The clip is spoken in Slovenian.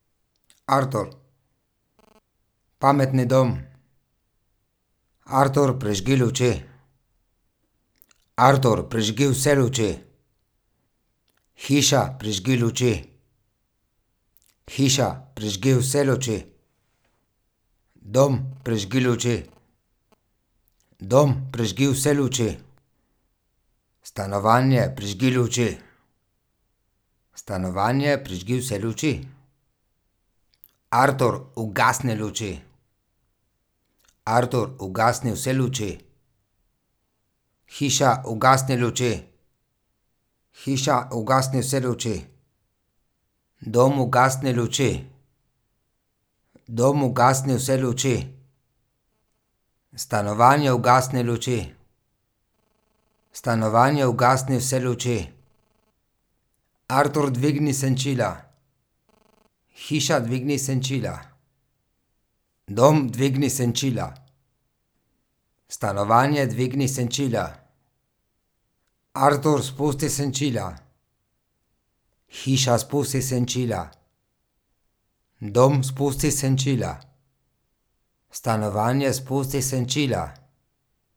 Artur. Pametni dom. Artur, prižgi luči. Artur, prižgi vse luči. Hiša, prižgi luči. Hiša, prižgi vse luči. Dom, prižgi luči. Dom, prižgi vse luči. Stanovanje, prižgi luči. Stanovanje, prižgi vse luči. Artur, ugasni luči. Artur, ugasni vse luči. Hiša, ugasni luči. Hiša, ugasni vse luči. Dom, ugasni luči. Dom, ugasni vse luči. Stanovanje, ugasni luči. Stanovanje, ugasni vse luči. Artur, dvigni senčila. Hiša, dvigni senčila. Dom, dvigni senčila. Stanovanje, dvigni senčila. Artur, spusti senčila. Hiša, spusti senčila. Dom, spusti senčila. Stanovanje, spusti senčila.